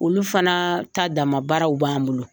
Olu fana ta dama baaraw b'an bolo.